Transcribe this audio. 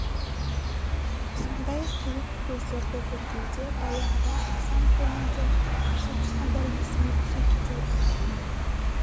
сондай қиық көздерді көргенде баяғыда хасан көлінде соғысқандар есіме түсе кетеді